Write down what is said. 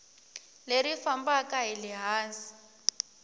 leri fambaka hi le hansi